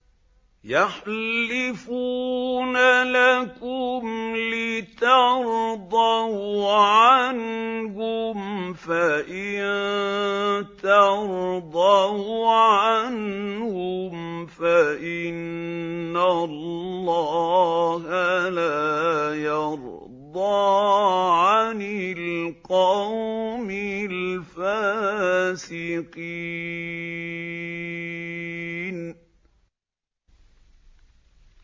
يَحْلِفُونَ لَكُمْ لِتَرْضَوْا عَنْهُمْ ۖ فَإِن تَرْضَوْا عَنْهُمْ فَإِنَّ اللَّهَ لَا يَرْضَىٰ عَنِ الْقَوْمِ الْفَاسِقِينَ